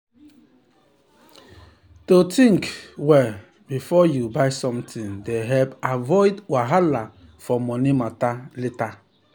to um think um well um before you buy something dey help avoid wahala for money matter later.